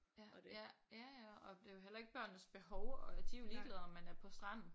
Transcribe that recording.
Ja ja ja ja og det er jo heller ikke børnenes behov og de er jo ligeglade med om man er på stranden